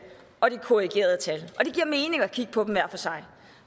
og de korrigerede tal og det giver mening at kigge på dem hver for sig